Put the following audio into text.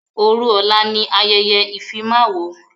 Òru ọ̀la ni ayẹyẹ ìfimáwo.